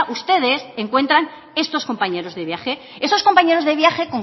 ustedes encuentran estos compañeros de viaje esos compañeros de viaje